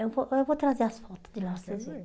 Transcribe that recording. Eu vou eu vou trazer as fotos de lá vocês vê.